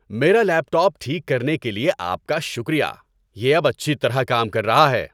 میرا laptop ٹھیک کرنے کے لیے آپ کا شکریہ۔ یہ اب اچھی طرح کام کر رہا ہے۔